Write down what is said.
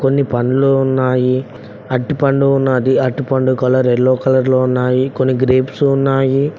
కొన్ని పండ్లు ఉన్నాయి అరటిపండు ఉన్నది అరటి పండు యెల్లో కలర్ లో ఉన్నాయి కొన్ని గ్రేప్స్ ఉన్నాయి.